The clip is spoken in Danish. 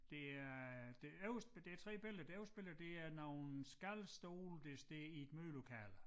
Det er det øverste det 3 billeder det øverste billede det er nogle skalstole der står i et mødelokale